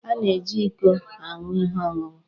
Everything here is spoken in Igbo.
A na-eji íkó aṅụ ihe ọṅụṅụ